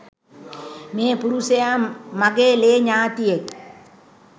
මේ පුරුෂයා මගේ ලේ ඥාතියෙක්.